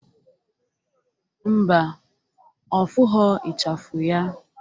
Mba, ọ fụghọ ichafu ya